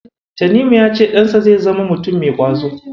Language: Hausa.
Tanimu ya ce ɗansa zai zama mutum mai ƙwazo.